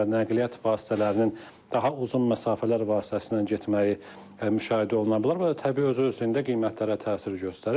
O cümlədən nəqliyyat vasitələrinin daha uzun məsafələr vasitəsilə getməyi müşahidə oluna bilər və bu da təbii özü-özlüyündə qiymətlərə təsir göstərir.